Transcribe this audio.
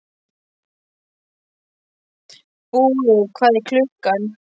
Búi, hvað er klukkan?